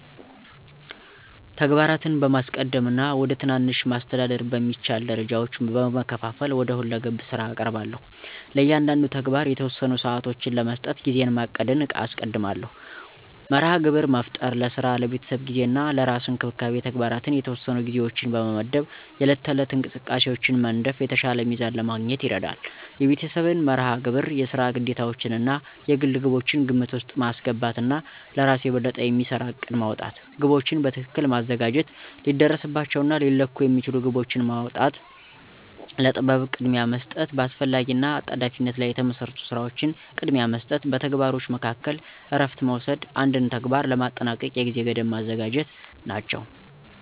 ተግባራትን በማስቀደም እና ወደ ትናንሽ፣ ማስተዳደር በሚቻል ደረጃዎች በመከፋፈል ወደ ሁለገብ ስራ እቀርባለሁ። ለእያንዳንዱ ተግባር የተወሰኑ ሰዓቶችን ለመስጠት ጊዜን ማቀድን አስቀድማለሁ። መርሃ ግብር መፍጠር፣ ለስራ፣ ለቤተሰብ ጊዜ እና ለራስ እንክብካቤ ተግባራት የተወሰኑ ጊዜዎችን በመመድብ የዕለት ተዕለት እንቅስቃሴን መንደፍ የተሻለ ሚዛን ለማግኘት ይረዳል። የቤተሰብን መርሃ ግብር፣ የስራ ግዴታዎችዎን እና የግል ግቦችን ግምት ውስጥ ማስገባት እና ለእራስ የበለጠ የሚሰራ እቅድ ማውጣት። ግቦችን በትክክል ማዘጋጀት፣ ሊደረስባቸው እና ሊለኩ የሚችሉ ግቦችን ማውጣ፣ ለጥበብ ቅድሚያ መስጠት፣ በአስፈላጊ እና አጣዳፊነት ላይ የተመሰረቱ ስራዎችን ቅድሚያ መስጠት፣ በተግባሮች መካከል እረፍት መውሰድ፣ አንድን ተግባር ለማጠናቀቅ የጊዜ ገደብ ማዘጋጀት ናቸው።